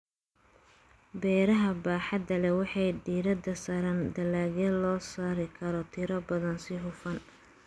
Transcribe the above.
Beeraha baaxadda leh waxay diiradda saaraan dalagyada loo soo saari karo tiro badan si hufan.